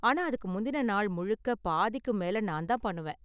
ஆனா, அதுக்கு முந்தின நாள் முழுக்க பாதிக்கும் மேல நான் தான் பண்ணுவேன்.